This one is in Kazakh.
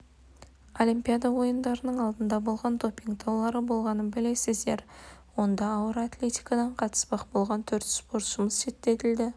олимпиада ойындарының алдында болған допинг даулары болғанын білесіздер онда ауыр атлетикадан қатыспақ болған төрт спортшымыз шеттетілді